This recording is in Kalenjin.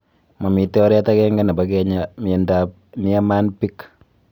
mamito oret ag�ng� nepo kenyaa miondop Niemann Pick